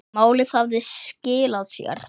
Málið hafði skilað sér.